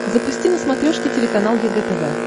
запусти на смотрешке телеканал егэ тв